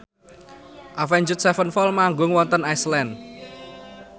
Avenged Sevenfold manggung wonten Iceland